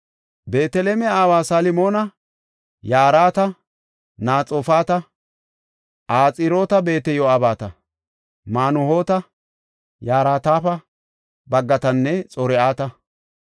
Beeteleme aawa Salmoona yarati Naxoofata, Axiroot-Beeteyo7abeta, Manuhoota yaratape baggatanne Xor7ata.